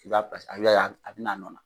I b'a a bɛ n'a nɔ na